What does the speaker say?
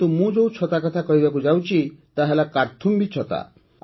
କିନ୍ତୁ ମୁଁ ଯେଉଁ ଛତା କଥା କହିବାକୁ ଯାଉଛି ତାହା ହେଲା କାର୍ଥୁମ୍ବୀ ଛତା